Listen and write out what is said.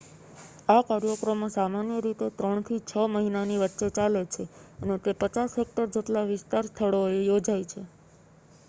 આ કાર્યક્રમો સામાન્ય રીતે ત્રણથી છ મહિનાની વચ્ચે ચાલે છે અને તે 50 હેક્ટર જેટલા વિશાળ સ્થળોએ યોજાય છે